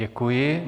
Děkuji.